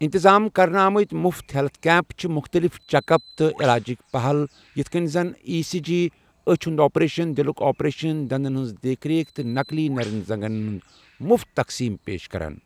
انتظام کرنہٕ آمٕت مفت ہیلتھ کیمپ چھِ مُختلف چیک اپ تہٕ علاجٕچ پہل یتھ کٮ۪ن زن ای سی جی، أچھ ہُنٛد آپریشن، دِلُک آپریشن، دندن ہنٛز دیکھ رک، تہٕ نَقلی نٔرٮ۪ن زَنٛگن ہُنٛد مُفت تقسیم پیش کران۔